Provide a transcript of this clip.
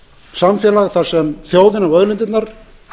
samfélag þar sem þjóðin á auðlindirnar